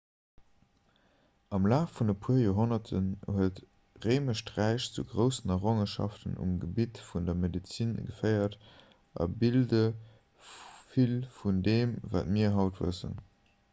am laf vun e puer joerhonnerten huet d'réimescht räich zu groussen errongenschaften um gebitt vun der medezin geféiert a bilde vill vun deem wat mir haut wëssen